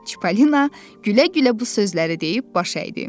Çippolina gülə-gülə bu sözləri deyib baş əydi.